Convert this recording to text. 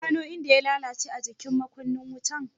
Ka gano inda ya lalace a jikin makunnin wutan?